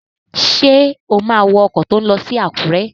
Ṣé o má wọ ọkọ̀ tó n lọ sí Àkúrẹ́?